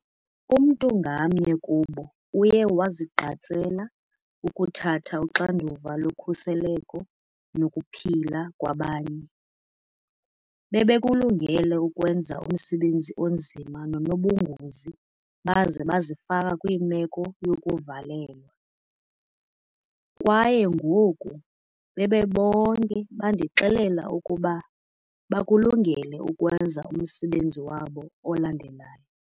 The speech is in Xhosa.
Umntu ngamnye kubo uye wazigqatsela ukuthatha uxanduva lokhuseleko nokuphila kwabanye. Bebekulungele ukwenza umsebenzi onzima nonobungozi baze bazifaka kwimeko yokuvalelwa. Kwaye ngoku, bebonke bandixelela ukuba, bakulungele ukwenza umsebenzi wabo olandelayo.